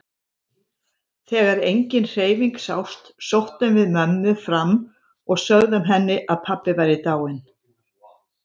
Þegar engin hreyfing sást sóttum við mömmu fram og sögðum henni að pabbi væri dáinn.